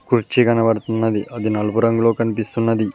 కుర్చీ కనపడుతున్నది అది నలుపు రంగులో కనిపిస్తున్నది.